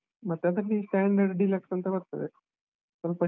ಮತ್ತೆ ಅದ್ರಲ್ಲಿ standard, deluxe ಅಂತ ಬರ್ತದೆ, ಸ್ವಲ್ಪ.